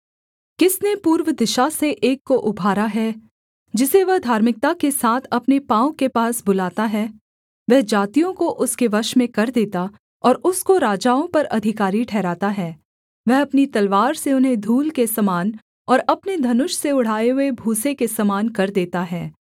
किसने पूर्व दिशा से एक को उभारा है जिसे वह धार्मिकता के साथ अपने पाँव के पास बुलाता है वह जातियों को उसके वश में कर देता और उसको राजाओं पर अधिकारी ठहराता है वह अपनी तलवार से उन्हें धूल के समान और अपने धनुष से उड़ाए हुए भूसे के समान कर देता है